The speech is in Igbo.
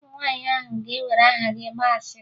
Ụmụ nwaanyị ahụ ga-ewere aha gị gbaa asịrị